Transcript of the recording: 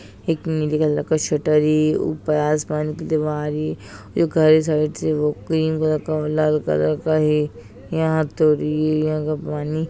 एक नीली कलर का शटर है ऊपर आसमान की दीवार है एक जो घर सावित्री वोह क्रीम कलर और लाल कलर का है यहाँ तो एरिया का पानी --